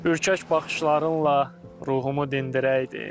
Ürkək baxışlarınla ruhumu dindirəydin.